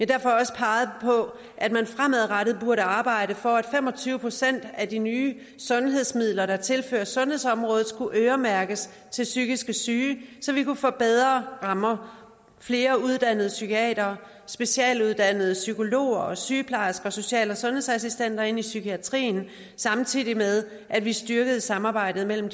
derfor også peget på at man fremadrettet burde arbejde for at fem og tyve procent af de nye sundhedsmidler der tilføres sundhedsområdet skulle øremærkes til psykisk syge så vi kunne få bedre rammer og flere uddannede psykiatere og specialuddannede psykologer og sygeplejersker og social og sundhedsassistenter ind i psykiatrien samtidig med at vi styrkede samarbejdet mellem